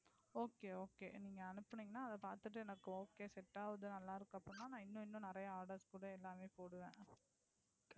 Okay Okay நீங்க அனுப்புனீங்கனா அத பாத்திட்டு எனக்கு Okay Set ஆகுது நல்லாயிருக்கு அப்படினா நான் இன்னும் இன்னும் நிறய Orders கூட எல்லாமே போடுவேன்.